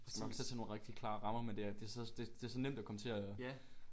Man skal nok sætte sig nogle rigtig klare rammer men det er det er så det det er så nemt at komme til at